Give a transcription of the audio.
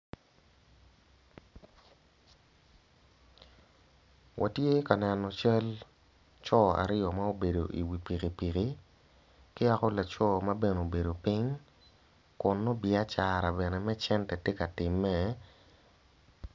Watye ja neno cal coo aryo ma obedo i wi pipiki ki yala laco mabene obedo ping kun nongo biacara bene me cene tye ka time.